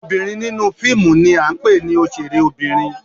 Obinrin ninu fiimu ni a ńpe ni oṣere obinrin.